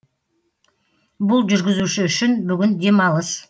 бұл жүргізуші үшін бүгін демалыс